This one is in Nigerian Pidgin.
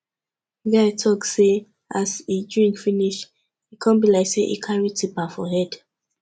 di guy talk sey as e drink finish e come be like sey e carry tipa for head